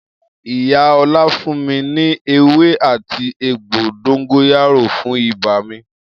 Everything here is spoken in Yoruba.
Iya Ola fun mi ni ewé áti egbo dongoyaro fun iba mi.